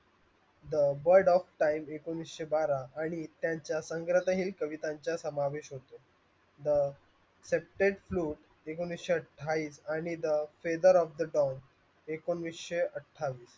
the world of time एकोणीशे बारा आणि त्यांच्या संघटने कवितांच्या समावेश होते एकोणीशे अठ्ठावीस आणि the faber of the time एकोणीशे अठ्ठावीस